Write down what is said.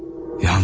Yalnız.